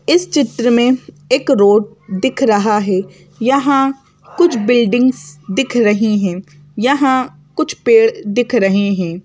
इस चित्र में एक रोड दिख रहा है यहां कुछ बिल्डिंग्स दिख रही हैं यहां कुछ पेड़ दिख रहे हैं।